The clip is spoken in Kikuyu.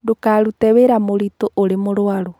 Ndũkarute wĩra mũritũ ũrĩ mũruarũ